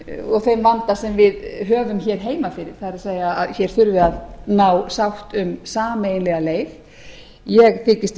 og þeim vanda sem við höfum hér heima fyrir það er að hér þurfi að ná sátt um sameiginlega leið ég þykist